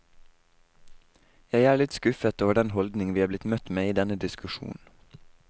Jeg er litt skuffet over den holdning vi er blitt møtt med i denne diskusjonen.